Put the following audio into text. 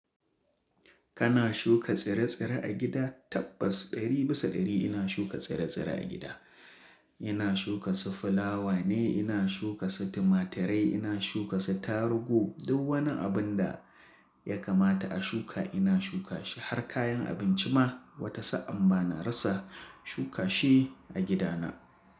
Kana shuka tsire-tsire a gida? Tabbas ɗari bisa ɗari ina shuka tsire-tsire a gida. Ina shuka su fulawa ne, ina shuka su tumaturai, ina shuka su tarugu. Duk wani abin da ya kamata a shuka ina shuka shi. Har kayan abinci ma watasa an ba ni rasa shuka shi a gidana.